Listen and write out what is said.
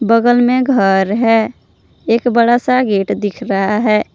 बगल में घर है एक बड़ा सा गेट दिखाई दे रहा है।